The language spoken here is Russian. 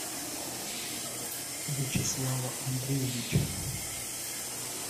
вячеслава андреевича